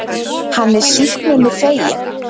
Hann er sýknunni feginn.